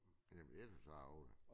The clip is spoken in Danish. Jamen jeg synes det er ærgeligt